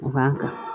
A b'an kan